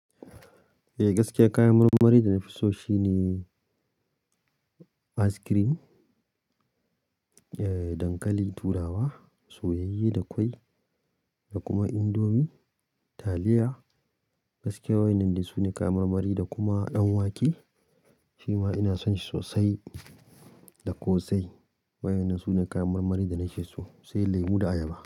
Eh, gaskiya kayan marmari da na fi so shine ice cream, eh dankali, turawa, soyayye da kwai da kuma indomi, taliya. Gaskiya waɗannan ne sune kayan marmari da kuma ɗanwake shima ina son shi sosai da ƙosai. Waɗannan sune kayan marmari da na fi so, sai lemu da ayaba.